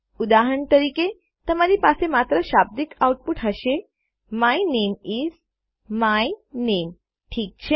ઉદાહરણ તરીકે તમારી પાસે માત્ર શાબ્દિક આઉટપુટ હશે my name is my name ઠીક છે